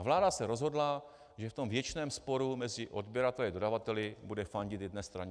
A vláda se rozhodla, že v tom věčném sporu mezi odběrateli a dodavateli bude fandit jedné straně.